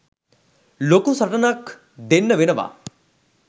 ලොකු සටනනක් දෙන්න වෙනවා.